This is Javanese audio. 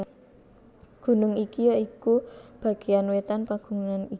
Gunung iki ya iku bagéan wétan pagunungan iki